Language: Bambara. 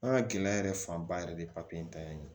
An ka gɛlɛya yɛrɛ fanba yɛrɛ de ye papiye in ta ye